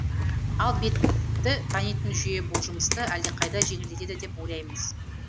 ал бетті танитын жүйе бұл жұмысты әлдеқайда жеңілдетеді деп ойлаймыз